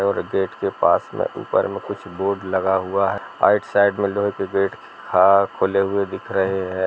और गेट के पास में ऊपर में कुछ बोर्ड लगा हुआ है राइट साइड में लोहे के गेट हा खुले हुए दिख रहे हैं।